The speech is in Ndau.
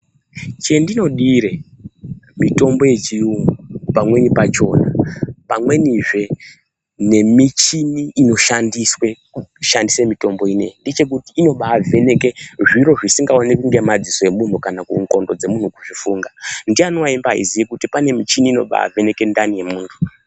Chendinodire mitombo yechiyungu pamweni pachona, pamwenizve nemichini inoshandiswe kushandise mitombo ineyi, ngechekuti inobaavheneke zviro zvisingaoneki ngemadziso emunhu kana kuti ndxondo dzemunhu kuzvifunga. Ndiyani waibaaziye kuti pane michini inobaavheneke ndani yemunthu?